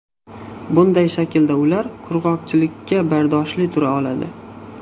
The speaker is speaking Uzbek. Bunday shaklda ular qurg‘oqchilikka bardoshli tura oladi.